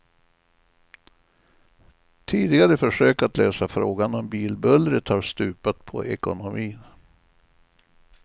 Tidigare försök att lösa frågan om bilbullret har stupat på ekonomin.